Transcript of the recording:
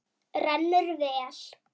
Rennur vel.